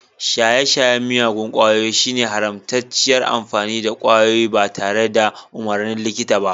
Shaye-shayen miyagun kwayoyi shine haramtacciyar amfani da kwayoyi ba tare da umarnin likita ba.